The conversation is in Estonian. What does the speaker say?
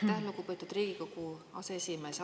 Aitäh, lugupeetud Riigikogu aseesimees!